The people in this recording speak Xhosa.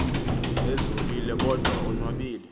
ezolile kodwa onwabile